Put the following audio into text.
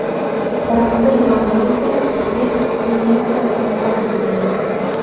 Qoramtir yog‘lar esa issiqlik generatsiyasini ta’minlaydi.